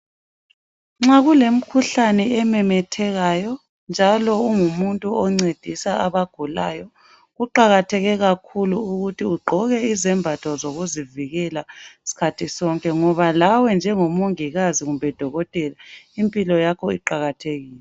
Nxa kulemkhuhlane ememethekayo , njalo ungumuntu oncedisa abagulayo kuqakatheke kakhulu. Ukuthi ugqoke izembatho zokuzivikela sikhathi sonke .Ngoba lawe njengomongikazi kumbe dokotela impilo yakho iqakathekile.